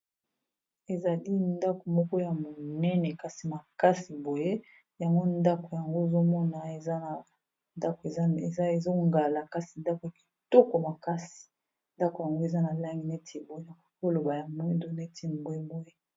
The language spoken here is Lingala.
Ezali ndako moko ya monene kasi makasi boye yango ndako yango ozomona ezana ezongala kasi ndako ya kitoko makasi ndako yango eza na langi neti boye nakoki koloba ya mwindo neti mbwe boye.